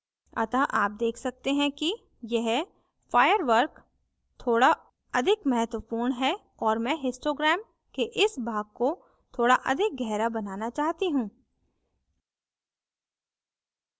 अतः आप देख सकते हैं कि यह firework थोड़ा अधिक महत्वपूर्ण है और मैं histogram के इस भाग को थोड़ा अधिक गहरा बनाना चाहती हूँ